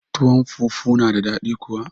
Tuwon fufu na da daɗi kuwa